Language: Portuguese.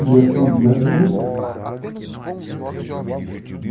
Dia seis de janeiro de